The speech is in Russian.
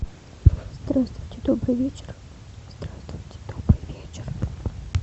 здравствуйте добрый вечер здравствуйте добрый вечер